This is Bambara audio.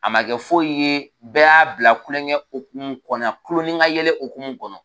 A ma kɛ dimi ye, a ma kɛ foyi ye. Bɛɛ ya bila kulonkɛ hokumu kɔnɔ, kulon ni ka yɛlɛ hokumu kɔnɔ.